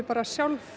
sjálf